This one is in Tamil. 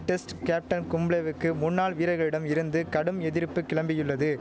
டெஸ்ட் கேப்டன் கும்ளேவுக்கு முன்னாள் வீரர்களிடம் இருந்து கடும் எதிர்ப்பு கிளம்பியுள்ளது